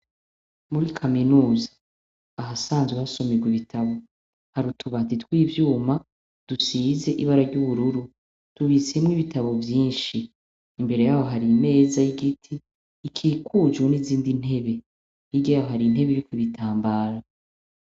Muri kaminuza aha sanzwe hasomijwa ibitabo hari utubatitw'ivyuma dusize ibara ry'ubururu tubisemwo ibitabo vyinshi imbere yaho hari meza y'igiti ikikuju n'izindi hirya yayoharintebe yuko bitambara.